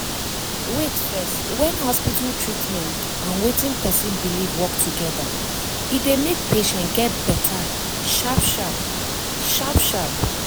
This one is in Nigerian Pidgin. wait first when hospital treatment and wetin person believe work together e dey make patient get better sharp sharp. sharp sharp.